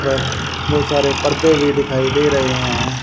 पर बहुत सारे पर्दे भी दिखाई दे रहे हैं।